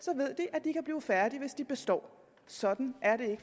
og færdige hvis de består sådan er det